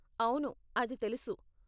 అవును, అది తెలుసు.